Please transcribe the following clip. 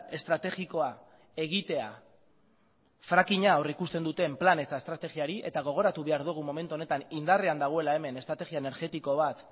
estrategikoa egitea frackinga aurrikusten duten plan eta estrategiari eta gogoratu behar dugu momentu honetan indarrean dagoela hemen estrategia energetiko bat